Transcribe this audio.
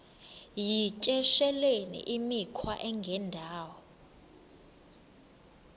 yityesheleni imikhwa engendawo